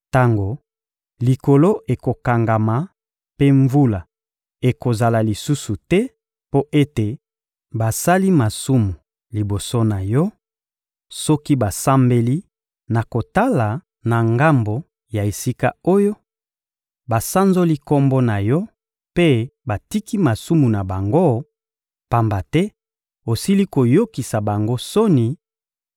Tango likolo ekokangama mpe mvula ekozala lisusu te mpo ete basali masumu liboso na Yo, soki basambeli na kotala na ngambo ya esika oyo, basanzoli Kombo na Yo mpe batiki masumu na bango, pamba te osili koyokisa bango soni,